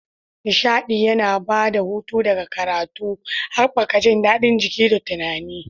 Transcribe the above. Nishaɗi yana ba da hutu daga karatu, haɓaka jin daɗin jiki da tunani.